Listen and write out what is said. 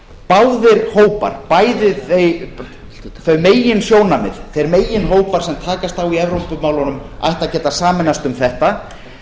báðir hópar bæði þau meginsjónarmið þeir meginhópar sem takast á í evrópumálunum ættu að geta sameinast um þetta